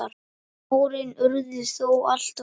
Árin urðu þó alltof fá.